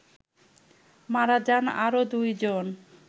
মারা যান আরো ২ জন